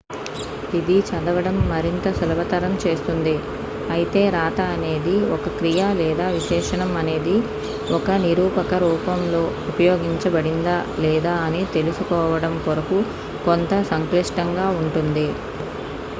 ఇది చదవడం మరింత సులభతరం చేస్తుంది అయితే రాతఅనేది ఒక క్రియ లేదా విశేషణం అనేది ఒక నిరూపక రూపంలో ఉపయోగించబడిందా లేదా అని తెలుసుకోవడం కొరకు కొంతసంక్లిష్టంగా ఉంటుంది